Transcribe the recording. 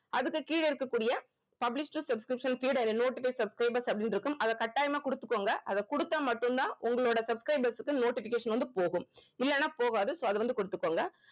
அதுக்கு கீழே இருக்கக்கூடிய published subscription feed and notify subscribers அப்படின்னு இருக்கும் அத கட்டாயமா குடுத்துக்கோங்க அத குடுத்தா மட்டும் தான் உங்களோட subscribers க்கு notification வந்து போகும் இல்லன்னா போகாது so அது வந்து குடுத்துக்கோங்க